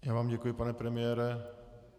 Já vám děkuji, pane premiére.